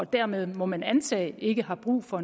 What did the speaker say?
dermed må man antage ikke har brug for